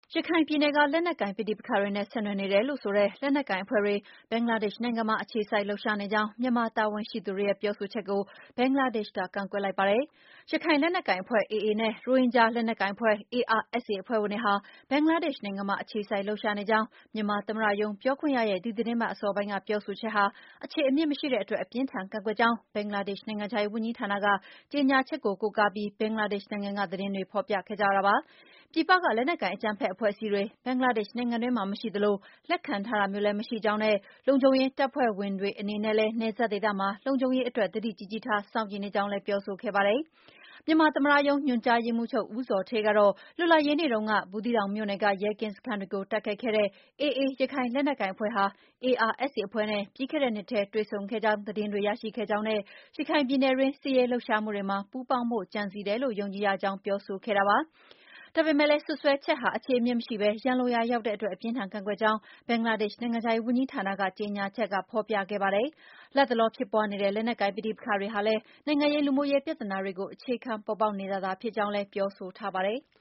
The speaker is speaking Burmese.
ရခိုင်ပြည်နယ်က လက်နက်ကိုင် ပဋိပက္ခတွေနဲ့ ဆက်နွယ်နေတယ်လို့ဆိုတဲ့ လက်နက်ကိုင် အဖွဲ့တွေ ဘင်္ဂလားဒေ့ရှ် နိုင်ငံမှာ အခြေစိုက် လှုပ်ရှားနေကြောင်း မြန်မာတာဝန်ရှိသူတွေရဲ့ ပြောဆိုချက်ကို ဘင်္ဂလားဒေ့ရှ်က ကန့်ကွက်လိုက်ပါတယ်။ ရခိုင်လက်နက်ကိုင်အဖွဲ့ AA နဲ့ ရိုဟင်ဂျာ လက်နက်ကိုင်အဖွဲ့ ARSA အဖွဲ့ဝင်တွေဟာ ဘင်္ဂလားဒေ့ရှ် နိုင်ငံမှာ အခြေစိုက် လှုပ်ရှားနေကြောင်း မြန်မာသမ္မတရုံး ပြောခွင့်ရရဲ့ ဒီသီတင်းပတ်အစောပိုင်း ပြောဆိုချက်ဟာ အခြေအမြစ်မရှိတဲ့အတွက် အပြင်းအထန် ကန့်ကွက်ကြောင်း ဘင်္ဂလားဒေ့ရှ်နိုင်ငံခြားရေး ဝန်ကြီးဌာန ကြေညာချက်ကို ကိုးကားပြီး ဘင်္ဂလားဒေ့ရှ် နိုင်ငံက သတင်းတွေက ဖော်ပြခဲ့ကြတာပါ။ ပြည်ပက လက်နက်ကိုင် အကြမ်းဖက် အဖွဲ့အစည်းတွေ ဘင်္ဂလားဒေ့ရှ်နိုင်ငံတွင်းမှာ မရှိသလို၊ လက်ခံထားတာမျိုးလည်း မရှိကြောင်းနဲ့ လုံခြုံရေးတပ်ဖွဲ့တွေ အနေနဲ့လည်း နယ်စပ်ဒေသမှာ လုံခြုံရေးအတွက် သတိကြီးကြီးထား စောင့်ကြည့်နေကြောင်းလည်း ပြောဆိုခဲ့ပါတယ်။ မြန်မာသမ္မတရုံး ညွှန်ကြားရေးမှူးချုပ် ဦးဇော်ဌေးကတော့ လွတ်လပ်ရေးနေ့တုန်းက ဘူးသီးတောင်မြို့နယ်က ရဲကင်းစခန်းတွေကို တိုက်ခိုက်ခဲ့တဲ့ AA ရခိုင်လက်နက်ကိုင် အဖွဲ့ဟာ ARSA အဖွဲ့နဲ့ ပြီးခဲ့တဲ့နှစ်ထဲ တွေ့ဆုံခဲ့ကြောင်း သတင်းတွေ ရရှိခဲ့ကြောင်းနဲ့ ရခိုင်ပြည်နယ်တွင်း စစ်ရေးလှုပ်ရှားမှုတွေမှာ ပူးပေါင်းဖို့ ကြံစည်တယ်လို့ ယုံကြည်ရကြောင်း ပြောဆိုခဲ့တာပါ။ ဒါပေမဲ့လည်း စွပ်စွဲချက်ဟာ အခြေအမြစ်မရှိဘဲ ရန်လိုရာရောက်တဲ့အတွက် အပြင်းအထန် ကန့်ကွက်ကြောင်းလည်း ဘင်္ဂလားဒေ့ရှ် နိုင်ငံခြားရေးဝန်ကြီးဌာန ကြေညာချက်က ဖော်ပြခဲ့ပါတယ်။ လတ်တလော ဖြစ်ပွားနေတဲ့ လက်နက်ကိုင် ပဋိပက္ခတွေဟာလည်း နိုင်ငံရေး၊ လူမှုရေး ပြဿနာတွေကို အခြေခံပေါ်ပေါက်နေတာသာ ဖြစ်ကြောင်းလည်း ပြောဆိုထားပါတယ်။